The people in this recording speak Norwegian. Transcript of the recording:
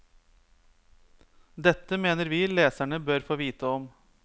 Dette mener vi leserne bør få vite om.